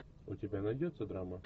у тебя найдется драма